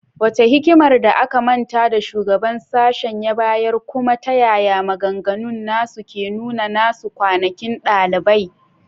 Wace hikimar da aka manta da shugaban sashen ya bayar, kuma ta yaya maganganun nasu ke nuna nasu kwanakin dalibai?